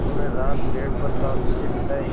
उन्होंने रात पेड़ पर शान्ति से बिताई